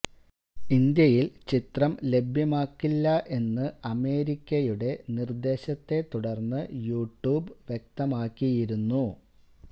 ഇന്ത്യയില് ചിത്രം ലഭ്യമാക്കില്ല എന്ന് അമേരിക്കയുടെ നിര്ദ്ദേശത്തെ തുടര്ന്ന് യൂ ട്യൂബ് വ്യക്തമാക്കിയിരുന്നു